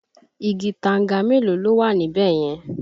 Igi tanga mélòó ló wà ní bẹ̀ yẹn?